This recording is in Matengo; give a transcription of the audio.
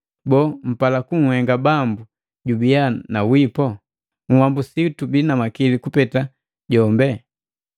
Boo, mpala kunhenga Bambu jubiya na wipo? Uhambusi tubii na makili kuliku jombe?